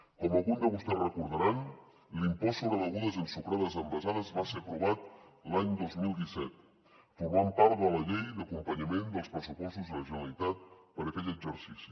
com algun de vostès recordaran l’impost sobre begudes ensucrades envasades va ser aprovat l’any dos mil disset i forma part de la llei d’acompanyament dels pressupostos de la generalitat per a aquell exercici